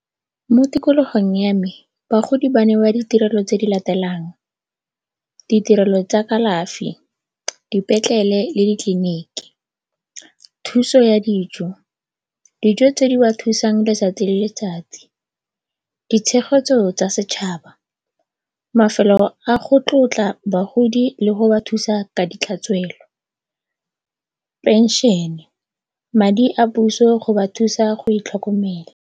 Mo tikologong ya me bagodi ba newa ditirelo tse di latelang, ditirelo tsa kalafi, dipetlele le ditleliniki, thuso ya dijo, dijo tse di ba thusang letsatsi le letsatsi. Ditshegetso tsa setšhaba, mafelo a go tlotla bagodi le go ba thusa ka ditlhatswelo, phenšene, madi a puso go ba thusa go itlhokomela.